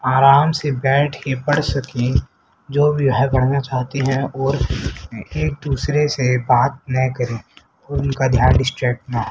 आराम से बैठ के पढ़ सके जो भी है पढ़ना चाहते हैं और एक दूसरे से बात ना करें उनका ध्यान डिस्टर्ब ना हो।